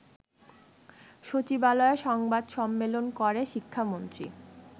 সচিবালয়ে সংবাদ সম্মেলন করে শিক্ষামন্ত্রী